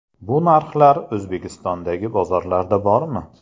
Bu narxlar O‘zbekistondagi bozorlarda bormi?.